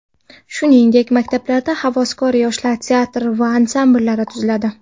Shuningdek, maktablarda havaskor yoshlar teatr va ansambllari tuziladi.